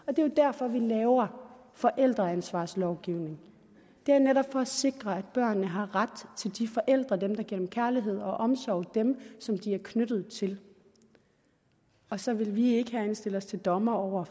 er jo derfor vi laver forældreansvarslovgivning det er netop for at sikre at børnene har ret til de forældre dem der giver dem kærlighed og omsorg dem som de er knyttet til og så vil vi ikke herinde sætte os til dommer over